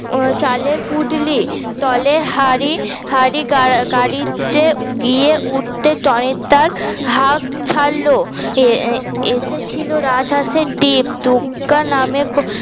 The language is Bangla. চালের পুটলি তলে হাড়ি হাড়ি গাড়িতে গিয়ে উঠতে টনিদার হাঁক ছাড়ল আহ এসেছিল রাজ হাসের ডিম দূগগা নামে ক